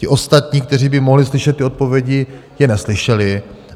Ti ostatní, kteří by mohli slyšet ty odpovědi, je neslyšeli.